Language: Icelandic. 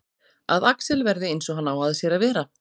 Að Axel verði eins og hann á að sér að vera.